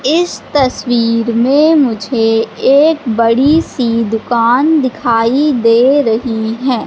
इस तस्वीर में मुझे एक बड़ी सी दुकान दिखाई दे रही है।